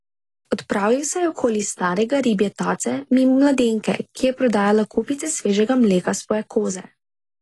Odpravil se je okoli Starega Ribje tace mimo mladenke, ki je prodajala kupice svežega mleka svoje koze.